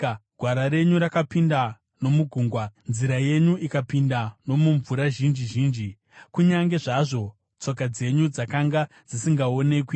Gwara renyu rakapinda nomugungwa, nzira yenyu ikapinda nomumvura zhinji zhinji, kunyange zvazvo tsoka dzenyu dzakanga dzisingaonekwi.